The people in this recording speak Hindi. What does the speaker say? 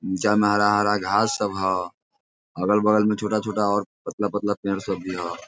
जहाँ में हरा हरा घास सब हो अगल बगल में छोटा छोटा और पतला पतला पेड़ सब भी ह ।